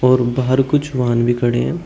और बाहर कुछ वाहन भी खड़े हैं।